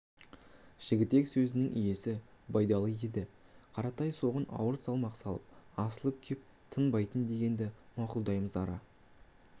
жігітек сөзінің иесі байдалы еді қаратай соған ауыр салмақ салып асылып кеп тынбаймын дегенді мақұлдамаймыз ара